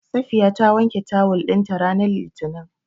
Safiya ta wanke tawul ɗinta ranar Litinin.